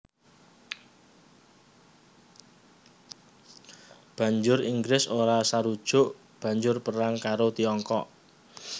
Banjur Inggris ora sarujuk banjur perang karo Tiongkok